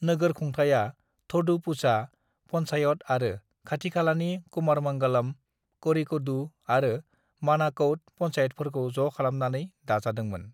"नोगोरखुंथाया थोडुपुझा पन्चायत आरो खाथिखालानि कुमारमंगलम, करिकोडु आरो मनाकौड पन्चायतफोरखौ ज' खालामनानै दाजादोंमोन।"